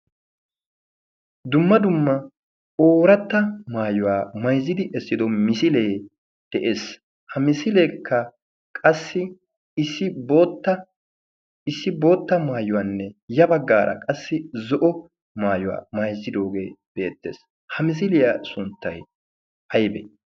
dumma dumma ooratta maayuwaa mayzzidi essido misilee de'ees ha misileekka qassi issi bootta maayuwaanne ya baggaara qassi zo'o maayuwaa mayzzidoogee beettees ha misiliyaa sunttay ha aybee